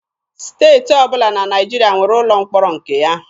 Steeti ọbụla na Naịjirịa nwere ụlọ mkpọrọ nke ya.